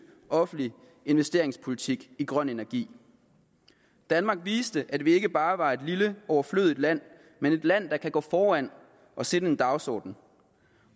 offentlig investeringspolitik i grøn energi danmark viste at vi ikke bare var et lille overflødigt land men et land der kan gå foran og sætte en dagsorden